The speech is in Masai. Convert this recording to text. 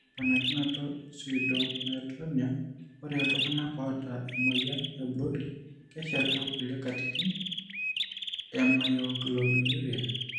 Ore temponikinoto epseudomyotonia, ore iltung'anak oata emuoyian eBrody keshetu kuliekatitin emyoglobinuria.